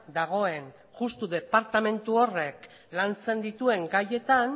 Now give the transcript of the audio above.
dagoen justu departamentu horrek lantzen dituen gaietan